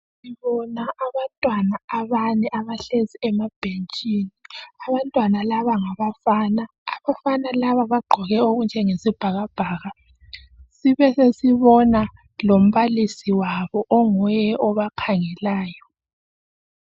Sibona abantwana abane abahlezi emabhentshini. Abantwana laba ngabafana. Abafana laba bagqoke okunjengesibhakabhaka,.Sibe sesibona lombalisi wabo onguye obakhangelayo.